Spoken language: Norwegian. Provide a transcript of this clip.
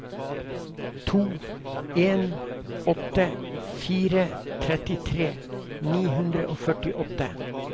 to en åtte fire trettitre ni hundre og førtiåtte